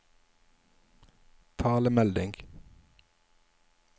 talemelding